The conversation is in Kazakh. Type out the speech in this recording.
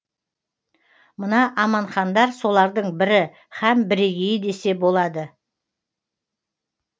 мына аманхандар солардың бірі һәм бірегейі десе болады